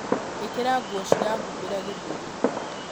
ĩkĩra nguo cirahumbĩra gĩthũri